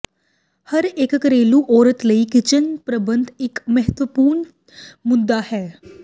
ਹਰ ਇੱਕ ਘਰੇਲੂ ਔਰਤ ਲਈ ਕਿਚਨ ਪ੍ਰਬੰਧ ਇੱਕ ਮਹੱਤਵਪੂਰਨ ਮੁੱਦਾ ਹੈ